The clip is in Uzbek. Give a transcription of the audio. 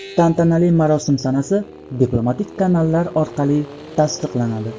Tantanali marosim sanasi diplomatik kanallar orqali tasdiqlanadi.